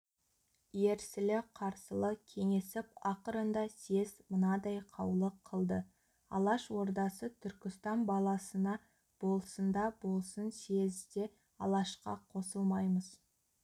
ерсілі-қарсылы кеңесіп ақырында съезд мынадай қаулы қылды алаш ордасы түркістан баласына болсында болсын съезде алашқа қосылмаймыз